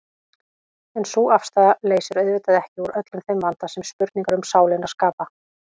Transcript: En sú afstaða leysir auðvitað ekki úr öllum þeim vanda sem spurningar um sálina skapa.